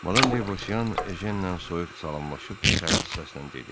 Madam De Bausean Ejenlə soyuq salamlaşıb sərt səslə dedi: